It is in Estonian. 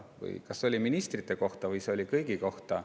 See oli kas ministrite kohta või kõigi kohta.